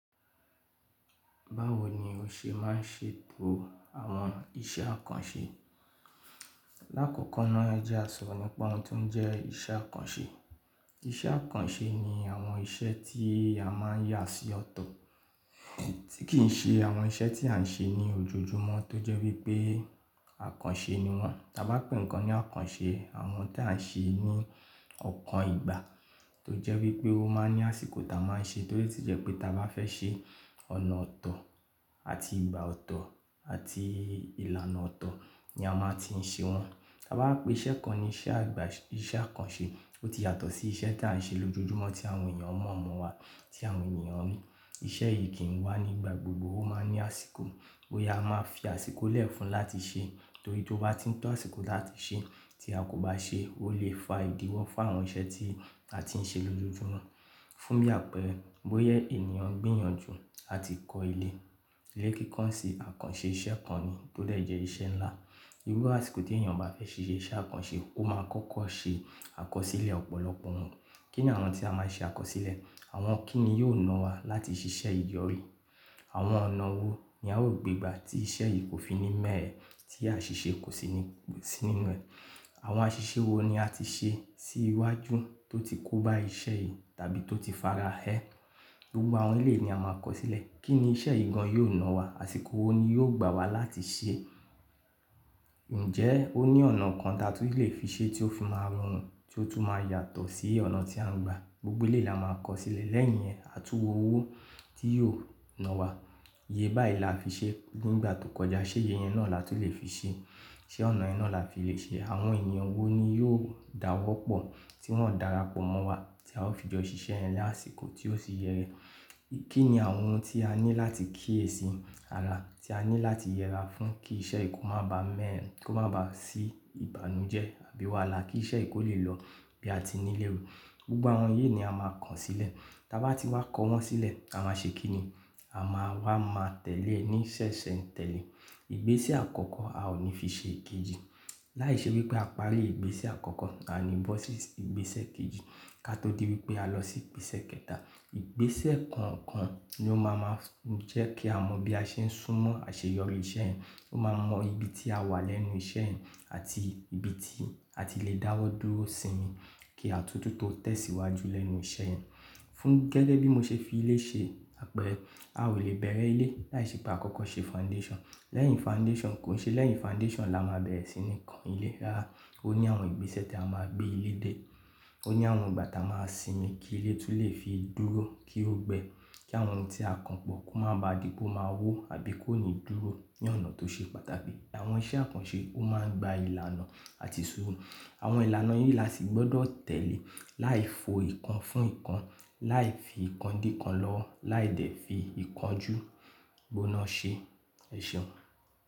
Báwo ni o ṣe máa ń ṣètò àwọn iṣẹ́ àkànṣe? Láàkọ́kọ́ náà ẹ jẹ àṣọ̀rọ̀ nípa oun tó ń jẹ́ iṣẹ́ àkànṣe. Iṣẹ́ àkànṣe ni àwọn iṣẹ́ tí a máa ń yà sí ọ̀tọ̀, tí kì í ṣe àwọn iṣẹ́ tí à ń ṣe ní ojoojúmọ́ tó jẹ́ wípé àkànṣe ni wọ́n. Ta bá pè nǹkan ní àkànṣe, àwọn tí à ń ṣe ní ọ̀kan ìgbà tó jẹ́ wípé ó máa ń ní àsìkò tá a máa ń ṣe, torí o tí jẹ́ pé ta bá fẹ́ ṣe ọ̀nà ọ̀tọ̀ àti ìgbà ọ̀tọ̀ àti ìlànà ọ̀tọ̀ ni a máa ti ń ṣe wọ́n. Ta bá pè iṣẹ́ kan ní iṣẹ́ àgbà-- iṣẹ́ àkànṣe, ó ti yàtọ̀ sí iṣẹ́ tí à ń ṣe lójoojúmọ́ tí àwọn èèyàn mọ̀ mọ̀ wa, tí àwọn èèyàn rí. Iṣẹ́ yìí kìn wá nígbà gbogbo, ó máa ń ní àsìkò. Boya a máa fi àsìkò lẹ̀ fún láti ṣẹ, torí tó bá ti ń tọ́ àsìkò láti ṣẹ tí a kò bá ṣe, ó lè fa ìdíwọ́ fún àwọn iṣẹ́ tí a tiń ṣe lójoojúmọ́. Fún bí àpẹẹrẹ, bóya ènìyàn gbinyànjú àti kọ ilé. Ilé kíko sín àkànṣe iṣẹ́ kan ni tó dè jẹ́ iṣẹ́ ńlá. Iru àsìkò tí èèyàn bá fẹ́ fi se iṣẹ́ àkànṣe, ó máa kọ́kọ́ ṣe àkọsílẹ̀ ọ̀pọ̀lọpọ̀ oun. Kí ni àwọn tí a máa ṣe àkọsílẹ̀? Àwọn kíni yóò na wa láti ṣiṣẹ́ ìyọrí? Àwọn ọ̀nà wo ni a ó gbe gba tí iṣẹ́ yìí kò fi ní mẹ́ẹ̀ eẹ́ tí àṣiṣẹ́ kò sì ní-- sì nínú ẹ̀? Àwọn aṣiṣẹ́ wo ni a ti ṣe sí iwájú tó ti kó bá iṣẹ́ yìí tàbí tó ti fara ẹ́? Gbogbo àwọn eleyìí ni a máa kọ sílẹ̀. Kí ni iṣẹ́ yii gan yóò na wa? Àsìkò wo ni yóò gbà wá láti ṣe é? Ǹjẹ́ ó ní ọ̀nà kan ta tú lè fi ṣe tí ó fi máa rún ti ó tún máa yàtọ̀ sí ọ̀nà tí a ń gba? Gbogbo lé là máa kọ sílẹ̀ lẹ́yìn yẹn. À tún wo owó tí yóò na wa. Iye báyiì là fi ṣe nígbà tó kọjá, ṣé iye yẹn náà la tó lè fi ṣe? Ṣé ọ̀nà yẹn náà la lè fi ṣe? Àwọn èèyàn wo ni yóò dáwọ́pọ̀ tí wọ́n ó dara pọ̀ mọ́ wa tí a ó fi jọ ṣiṣẹ́ yẹn ni àsìkò tí ó sì yẹ Kí ni àwọn oun tí a ní láti kíyèsì ara, tí a ní láti yẹra fún kí iṣẹ́ yìí kó má ba mẹ́e ẹ, kó má ba sí ìbànújẹ́ àbí wàá la kí iṣẹ́ yìí kó lè lọ bí a ti ní léro. Gbogbo àwọn yìí ni a máa kàn sílẹ̀. Ta bá ti wá kọ wọ́n sílẹ̀, a máa ṣe kín ni? A máa wá máa tẹ̀lé ní sẹ̀sẹ̀ ń tẹ̀lé. Ìgbésẹ̀ àkọ́kọ́ a ò ní fi ṣe èkejì. Láìṣẹ́ wípé a pa á lé ìgbésẹ̀ àkọ́kọ́, a ní bọ́ sí ìgbésẹ̀ kejì ká tó dé bi pé a lọ sí ìgbésẹ̀ kẹta. Ìgbésẹ̀ kọ̀ọ̀kan ló máa máa jẹ́ kí a mọ bí a ṣe ń súnmọ́ àṣeyọrí iṣẹ́ yẹn. Ó máa mọ ibi tí a wà lẹ́nu iṣẹ́ yẹn àti ibi tí a ti lè dáwọ́ dúró sí, kí a tún tún tó tẹ̀síwájú lẹ́nu iṣẹ́ yẹn. Fún gẹ́le bí mo ṣe fi ilé ṣe àpẹẹrẹ, a ò lè bẹ̀rẹ̀ ilé láìṣẹ́ pé a kọ́kọ́ ṣe foundation. Lẹ́yìn foundation, kò ṣe lẹ́yìn foundation la máa bẹ̀rẹ̀ sí ní kan ilé. Rárá, ó ní àwọn ìgbésẹ̀ tí a máa gbé ilé dé. Ó ní àwọn ìgbà tá a máa sinmi kí ilé tún lè fi dúró kí ó gbẹ, kí àwọn oun tí a kan pọ̀ kó má ba dì pe o máa wó àbí kó ní dúró ní ọ̀nà tó ṣe pàtàkì. Àwọn iṣẹ́ àkànṣe ó máa ń gba ìlànà àti ìṣòro. Àwọn ìlànà yìí la sì gbọ́dọ̀ tẹ̀lé láì fo ìkan fún ìkan, láì fi ìkan di ìkan lọ́wọ́, láì dẹ̀ fi ìkanjú gbóná ṣe. Ẹ̀ṣeun.